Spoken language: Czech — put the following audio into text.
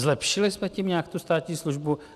Zlepšili jsme tím nějak tu státní službu?